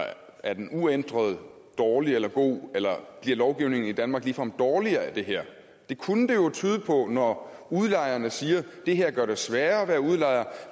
er den uændret dårlig eller god eller bliver lovgivningen i danmark ligefrem dårligere af det her det kunne det jo tyde på når udlejerne siger at det her gør det sværere at være udlejer